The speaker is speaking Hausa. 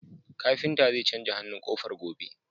Kafinta zai canja hannun ƙofar, gobe.